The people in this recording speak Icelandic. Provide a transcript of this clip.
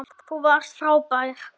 Þú varst frábær.